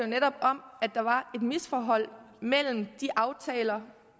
netop om at der var et misforhold mellem de aftaler